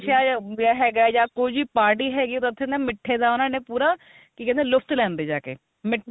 ਵਿਆਹ ਹੈਗਾ ਜਾ ਕੁੱਝ party ਹੈਗੀ ਤਾਂ ਉੱਥੇ ਮਿੱਠਾ ਦਾ ਉਹਨਾ ਨੇ ਪੂਰਾ ਕੀ ਕਹਿੰਦੇ ਆ ਲੁਪਤ ਲੈਂਦੇ ਜਾ ਕੇ ਮਿੱਠਾ